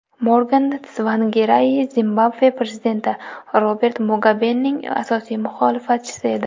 Morgan Tsvangirai Zimbabve prezidenti Robert Mugabening asosiy muxolifatchisi edi.